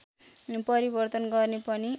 परिवर्तन गर्ने पनि